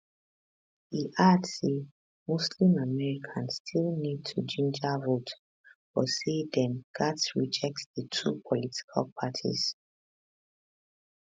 e add say muslim americans still need to ginger vote but say dem gatz reject di two political parties